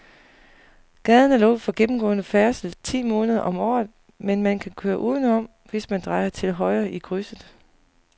Gaden er lukket for gennemgående færdsel ti måneder om året, men man kan køre udenom, hvis man drejer til højre i krydset.